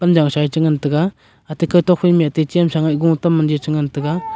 now cha e te ngan taiga te ngan taiga.